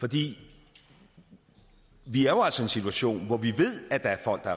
for vi vi er jo altså i en situation hvor vi ved at der er folk der er